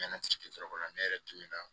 N nana ci kɛyɔrɔ la ne yɛrɛ tora